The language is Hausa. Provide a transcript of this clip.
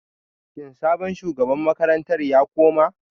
Shin sabon shugaban makarantar ya koma